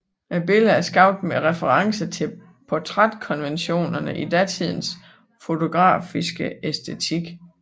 Billedet er skabt med referencer til portrætkonventionerne i datidens fotografiske æstetik